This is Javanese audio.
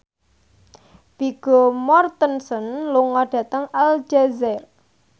Vigo Mortensen lunga dhateng Aljazair